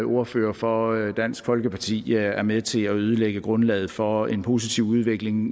ordfører for dansk folkeparti er med til at ødelægge grundlaget for en positiv udvikling